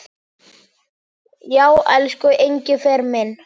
Já, elsku Engifer minn.